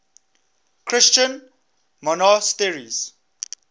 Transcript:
christian monasteries